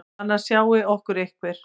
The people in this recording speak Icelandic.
Annars sjái okkur einhver.